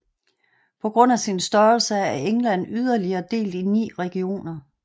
På grund af sin størrelse er England yderligere delt i 9 regioner